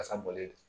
Kasa bɔlen don